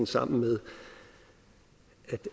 sammen med